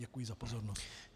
Děkuji za pozornost.